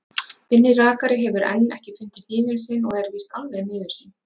Binni rakari hefur enn ekki fundið hnífinn sinn og er víst alveg miður sín.